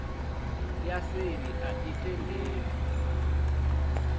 ya seli a i tendelwi